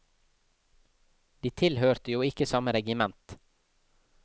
De tilhørte jo ikke samme regiment.